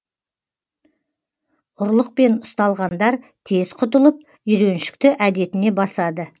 ұрлықпен ұсталғандар тез құтылып үйреншікті әдетіне басады